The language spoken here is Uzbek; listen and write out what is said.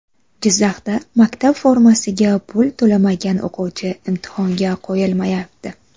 Jizzaxda maktab formasiga pul to‘lamagan o‘quvchi imtihonga qo‘yilmayapti.